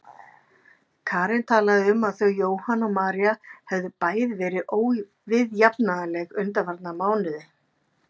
Karen talaði um að þau Jóhann og María hefðu bæði verið óviðjafnanleg undanfarna mánuði.